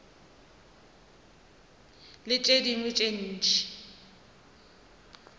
le tše dingwe tše ntši